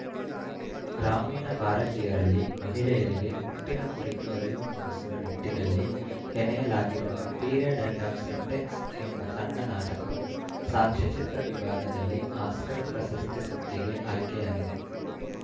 ಗ್ರಾಮೀಣ ಭಾರತೀಯರಲ್ಲಿ ಮಹಿಳೆಯರಿಗೆ ಮುಟ್ಟಿನ ಕುರಿತು ಅರಿವು ಮೂಡಿಸುವ ನಿಟ್ಟಿನಲ್ಲಿ ಹೆಣೆಯಲಾಗಿರುವ ಪಿರಿಯಡ್‌ ಎಂಡ್‌ ಆಫ್‌ ಸೆಂಟೆನ್ಸ್‌ ಎಂಬ ಸಣ್ಣ ನಾಟಕವು ಸಾಕ್ಷ್ಯಚಿತ್ರ ವಿಭಾಗದಲ್ಲಿ ಆಸ್ಕರ್‌ ಪ್ರಶಸ್ತಿ ಸುತ್ತಿಗೆ ಆಯ್ಕೆಯಾಗಿದೆ